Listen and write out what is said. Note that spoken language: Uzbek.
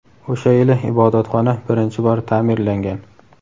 O‘sha yili ibodatxona birinchi bor ta’mirlangan.